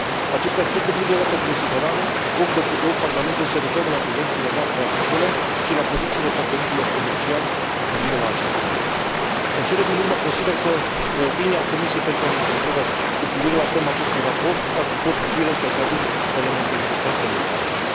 Acest aspecte trebuie luate în considerare ori de câte ori Parlamentul se referă la subvențiile noastre agricole și la pozițiile partenerilor comerciali cu privire la acestea. În cele din urmă consider că opinia Comisiei pentru agricultură cu privire la tema acestui raport ar fi fost utilă și ar fi adus elemente importante în dezbatere.